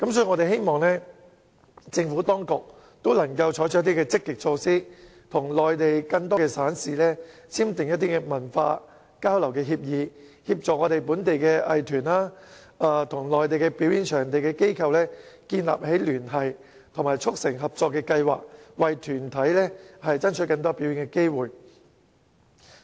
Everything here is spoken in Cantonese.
我們希望政府當局能採取積極措施，與內地更多省市簽訂文化交流的協議，協助本地藝團與內地表演場地的機構建立聯繫及促成合作計劃，為團體爭取更多表演機會。